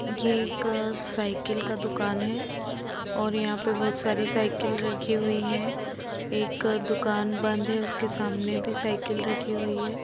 ये एक सायकल का दुकान है और यहा पे बहुत सारी साइकिल रखी हुयी है एक दुकान बंद है उसके सामने भी साइकिल रखी हुई है।